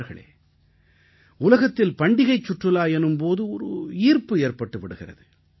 நண்பர்களே உலகத்தில் பண்டிகைச் சுற்றுலா எனும் போதே ஒரு ஈர்ப்பு ஏற்பட்டு விடுகிறது